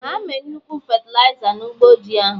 Ha me nnukwu fetịliza na ụgbọ ji ahụ